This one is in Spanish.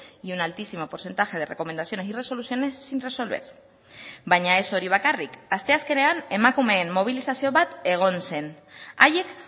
y un altísimo porcentaje de recomendaciones y resoluciones sin resolver baina ez hori bakarrik asteazkenean emakumeen mobilizazio bat egon zen haiek